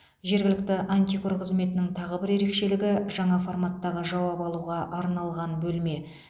жергілікті антикор қызметінің тағы бір ерекшелігі жаңа форматтағы жауап алуға арналған бөлме